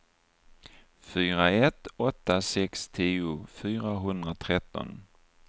fyra ett åtta sex tio fyrahundratretton